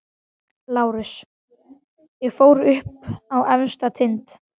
LÁRUS: Ég fór upp á efsta tind.